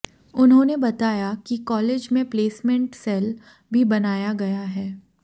उन्होंने बताया कि कालेज में प्लेसमेंट सैल भी बनाया गया है